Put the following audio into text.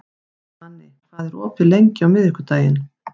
Svani, hvað er opið lengi á miðvikudaginn?